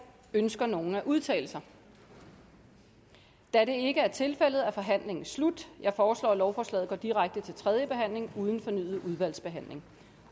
ønsker nogen at udtale sig da det ikke er tilfældet er forhandlingen slut jeg foreslår at lovforslaget går direkte til tredje behandling uden fornyet udvalgsbehandling